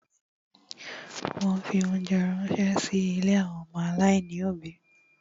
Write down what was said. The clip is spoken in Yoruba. Wọ́n fi óńjẹ ránṣẹ́ sí ilé àwọn ọmọ aláìní òbí.